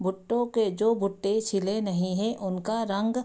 भुट्टो के जो भुट्टे छिले नहीं हैं उनका रंग --